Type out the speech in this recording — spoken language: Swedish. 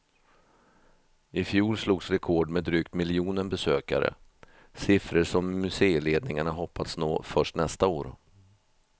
Ifjol slogs rekord med drygt miljonen besökare, siffror som museiledningarna hoppats nå först nästa år.